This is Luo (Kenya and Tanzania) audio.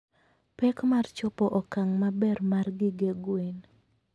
pek mar chopo okang' maber mar gige gwen.